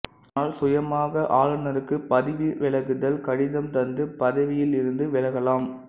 ஆனால் சுயமாக ஆளுநருக்கு பதவிவிலகுதல் கடிதம் தந்து பதவியில் இருந்து விலகலாம்